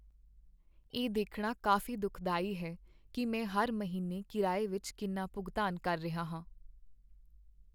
ਇਹ ਦੇਖਣਾ ਕਾਫ਼ੀ ਦੁਖਦਾਈ ਹੈ ਕਿ ਮੈਂ ਹਰ ਮਹੀਨੇ ਕਿਰਾਏ ਵਿੱਚ ਕਿੰਨਾ ਭੁਗਤਾਨ ਕਰ ਰਿਹਾ ਹਾਂ।